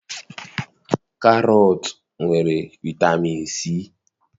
Karọt nwere vitamin C.